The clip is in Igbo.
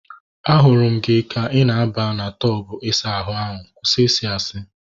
Ahụrụ m gị ka ị na aba na tọbu isa ahụ ahu. Kwụsị I si asị!